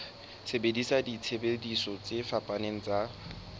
sebedisa disebediswa tse fapaneng tsa